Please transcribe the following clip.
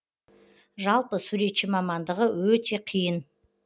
жалпы суретші мамандығы өте қиын